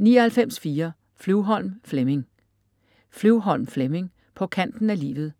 99.4 Flyvholm, Flemming Flyvholm, Flemming: På kanten af livet: